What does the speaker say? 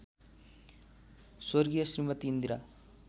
स्व श्रीमती इन्दिरा